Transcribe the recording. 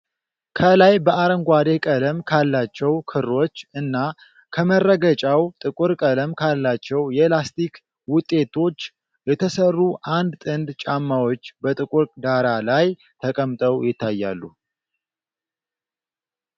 ከላይ በአረንጓዴ ቀለም ካላቸው ክሮች እና ከመረገጫው ጥቁር ቀለም ካላቸው የላስቲክ ውጤቶች የተሰሩ አንድ ጥንድ ጫማዎች በጥቁር ዳራ ላይ ተቀምጠው ይታያሉ ።